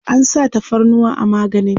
an sa tafarnuwa a maganin?